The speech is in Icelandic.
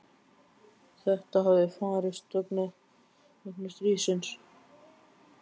Þetta hefði farist fyrir vegna stríðsins.